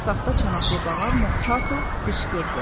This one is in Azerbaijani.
Saxta çanaqlı bağa Mok Tartle qışqırdı.